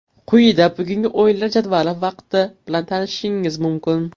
Quyida bugungi o‘yinlar jadvali va vaqti bilan tanishishingiz mumkin.